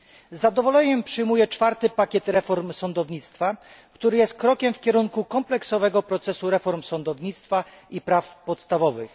Z zadowoleniem przyjmuję czwarty pakiet reform sądownictwa, który jest krokiem w kierunku kompleksowego procesu reform sądownictwa i praw podstawowych.